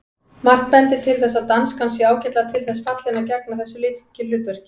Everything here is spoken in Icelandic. Margt bendir til þess að danskan sé ágætlega til þess fallin að gegna þessu lykilhlutverki.